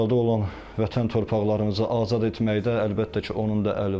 İşğalda olan vətən torpaqlarımızı azad etməkdə əlbəttə ki, onun da əli var.